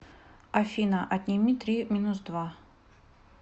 афина отними три минус два